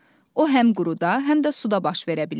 O həm quruda, həm də suda baş verə bilir.